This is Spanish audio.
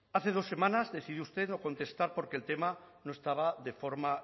hace dos semanas decidió usted no contestar porque el tema no estaba de forma